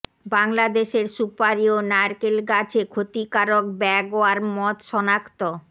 বাংলাদেশের সুপারি ও নারিকেল গাছে ক্ষতিকারক ব্যাগওয়ার্ম মথ শনাক্ত